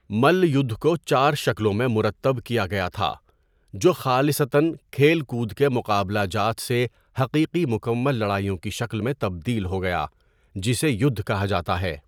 ملّ یُدھ کو چار شکلوں میں مرتب کیا گیا تھا جو خالصتاً کھیل کود کے مقابلہ جات سے حقیقی مکمل لڑائیوں کی شکل میں تبدیل ہو گیا، جسے یُدھ کہا جاتا ہے۔